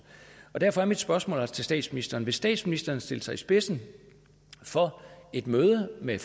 derfor er mit spørgsmål altså til statsministeren vil statsministeren stille sig i spidsen for et møde med